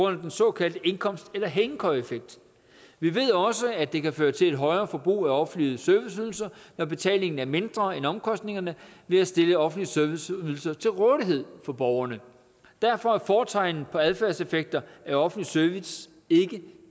af den så kaldte indkomst eller hængekøjeeffekt vi ved også at det kan føre til et højere forbrug af offentlige serviceydelser når betalingen er mindre end omkostningerne ved at stille offentlige serviceydelser til rådighed for borgerne derfor er fortegnet på adfærdseffekter af offentlig service ikke